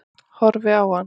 Horfi á hann.